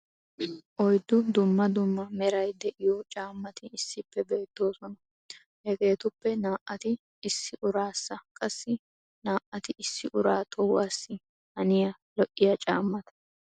oyddu dumma dumma meray diyo caamati issippe beetoosona. hegeetuppe naa'ati issi uraassa qassi naa'ati issi uraa tuhuwassi haniya li'iya caamata.